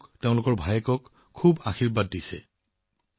পুত্ৰ ভায়েকক তেওঁলোকে বহুত আশীৰ্বাদ দিছে